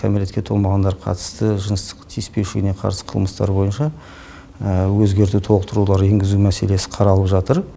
кәмілетке толмағандарға қатысты жыныстық тиіспеушілігіне қарсы қылмыстар бойынша өзгерту толықтырулар енгізу мәселесі қаралып жатыр